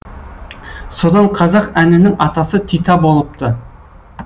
содан қазақ әнінің атасы тита болыпты